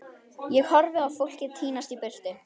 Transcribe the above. Ég horfi á fólkið tínast í burtu.